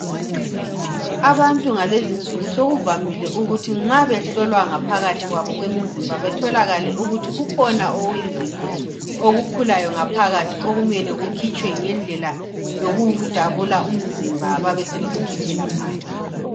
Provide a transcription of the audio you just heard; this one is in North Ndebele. Abantu ngalezi'nsuku sokuvamile ukuthi nxa behlolwa ngaphakathi kwabo kwemizimba betholakale ukuthi kukhona okuyizinto, okukhulayo ngaphakathi okumele kukhitshwe ngendlela yokudabula umzimba babe sebekukhiphela phandle.